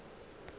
le ge e le go